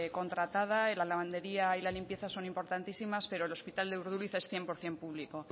contratada y la lavandería y la limpieza son importantísimas pero el hospital de urduliz es cien por ciento público